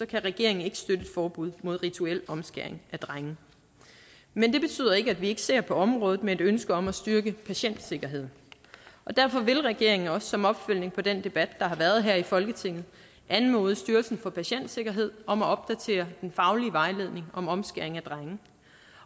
kan regeringen ikke støtte et forbud mod rituel omskæring af drenge men det betyder ikke at vi ikke ser på området med et ønske om at styrke patientsikkerheden derfor vil regeringen også som opfølgning på den debat der har været her i folketinget anmode styrelsen for patientsikkerhed om at opdatere den faglige vejledning om omskæring af drenge